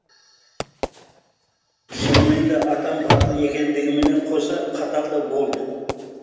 шынымен де атам батыл екендігімен қоса қатал да болды